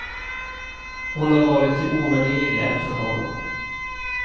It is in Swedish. Hon har varit till ovärderlig hjälp för honom.